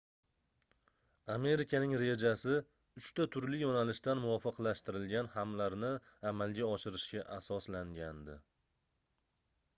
amerikaning rejasi uchta turli yoʻnalishdan muvofiqlashtirilgan hamlalarni amalga oshirishga asoslangandi